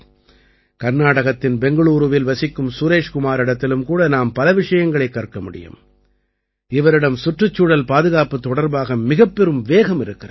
கர்நாடகத்தின் பெங்களூரூவில் வசிக்கும் சுரேஷ் குமாரிடத்திலும் கூட நாம் பல விஷயங்களைக் கற்க முடியும் இவரிடம் சுற்றுச்சூழல் பாதுகாப்புத் தொடர்பாக மிகப்பெரும் வேகம் இருக்கிறது